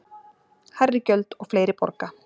Hærri gjöld og fleiri borga